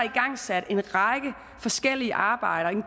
igangsat en række forskellige arbejder